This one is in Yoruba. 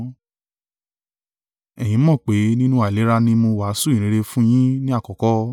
Ẹ̀yin mọ̀ pé nínú àìlera ni mo wàásù ìyìnrere fún yín ní àkọ́kọ́.